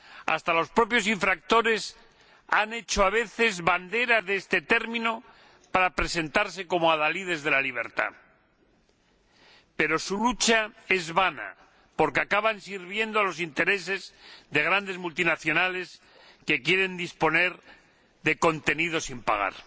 Hasta los propios infractores han hecho a veces bandera de este término para presentarse como adalides de la libertad, pero su lucha es vana porque acaban sirviendo a los intereses de grandes multinacionales que quieren disponer de contenidos sin pagar.